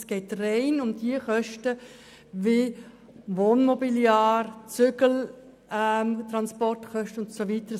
Es geht rein um die Kosten für Wohnmobiliar, Zügeltransportkosten und so weiter.